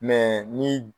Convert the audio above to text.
ni